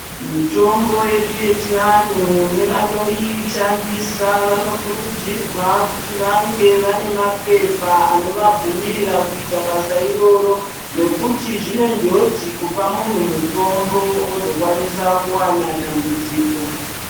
Mitombo yedu yechianhu nevanoishandisa vanokurudzirwa kuti vange vane mapepa anovabvumira kuita basa iroro nekuti zvine njodzi kupa munhu mutombo ozokwanisa kuwana dambudziko.